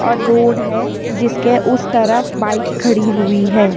और रोड है जिसके उस तरफ बाइक खड़ी हुई है।